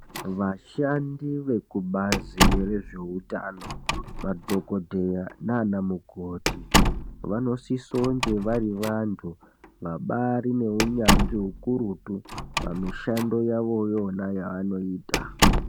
Vashandi vekubazi rezveutano, madhokodheya naana mukoti vanosisa kunge vari vanthu vabaari neunyanzvi ukurutu, pamishando yawo iyona yewanoita.